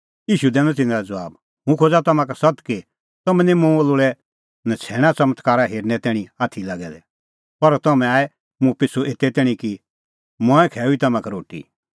ईशू दैनअ तिन्नां लै ज़बाब हुंह खोज़ा तम्हां का सत्त कि तम्हैं निं मुंह लोल़ै नछ़ैण च़मत्कारा हेरनै तैणीं आथी लागै दै पर तम्हैं आऐ मुंह पिछ़ू एते तैणीं कि मंऐं खैऊई तम्हां का रोटी